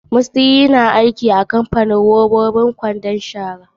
Mustyn yana aiki a kamapanin haɗa robabi irin su kwandon shara.